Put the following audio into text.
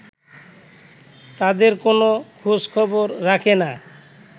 তাঁদের কোনো খোঁজখবর রাখে না